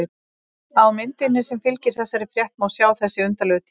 Á myndinni sem fylgir þessari frétt má sjá þessi undarlegu tíðindi.